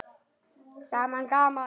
Gaman gaman!